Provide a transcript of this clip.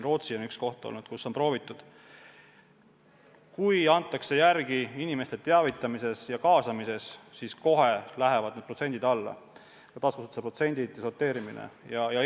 Rootsi on olnud üks riik, kus seda on proovitud: kui antakse järele inimeste teavitamises ja kaasamises, siis lähevad taaskasutuse protsendid kohe alla, sorteerimine väheneb.